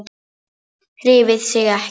Hreyfði sig ekki.